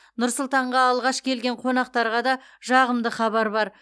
нұр сұлтанға алғаш келген қонақтарға да жағымды хабар бар